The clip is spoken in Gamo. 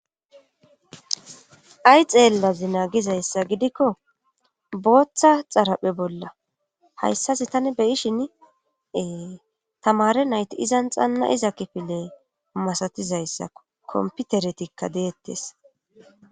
ay xeellazi naagizayssa gidikko booththa xaraphe bolla hayssasi tani beyishinee tamare nayti izan xanna iza kifile masatizayssao komputeretikka deettes